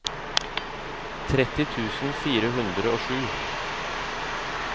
tretti tusen fire hundre og sju